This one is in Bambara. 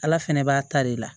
Ala fɛnɛ b'a ta de la